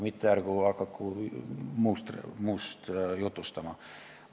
Ärgu hakaku muust jutustama.